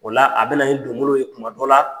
O la a bɛ na i kungolo ye kuma dɔ la